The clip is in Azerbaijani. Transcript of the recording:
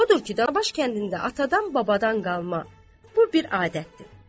Odur ki, Danabaş kəndində atadan-babadan qalma bu bir adətdir.